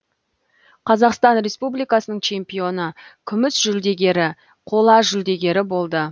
қазақстан республикасының чемпионы күміс жүлдегері қола жүлдегері болды